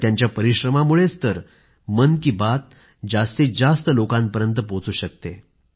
त्यांच्या परिश्रमामुळेच तर मन की बात जास्तीत जास्त लोकांपर्यंत पोहोचू शकतेय